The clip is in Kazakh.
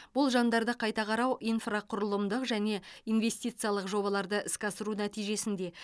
болжамдарды қайта қарау инфрақұрылымдық және инвестициялық жобаларды іске асыру нәтижесінде